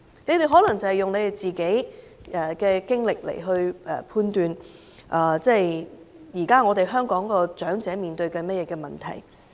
他們可能是根據自己的經歷，來判斷現時香港長者正在面對的問題。